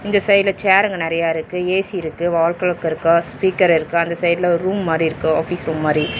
இந்த சைடுல சேர்ருங்க நெறைய இருக்கு ஏ_சி இருக்கு வால் கிளாக்க இருக்கு ஸ்பீக்கர் இருக்கு அந்த சைடுல ஒரு ரூம் மாரி இருக்கு ஆபீஸ் ரூம் மாரி.